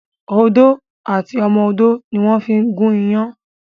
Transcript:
Odó àti ọmọ odó ni wón fí ń gún iyán